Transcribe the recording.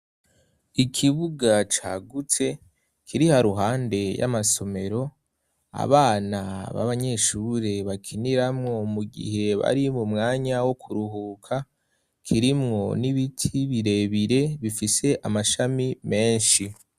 Ikibuga cagutse kiri haruhande y'amasomero, abana babanyeshure bakiniramwo mu gihe bari mu mwanya wo kuruhuka, kirimwo n'ibiti birebire bifise amashami menshi.